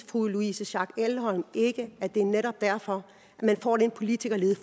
fru louise schack elholm ikke at det netop er derfor at man får den politikerlede